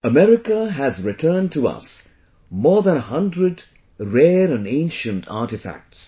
America has returned to us more than a hundred rare and ancient artefacts